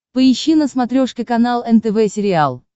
поищи на смотрешке канал нтв сериал